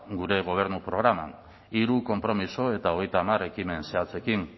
gure gobernu programan hiru konpromiso eta hogeita hamar ekimen zehatzekin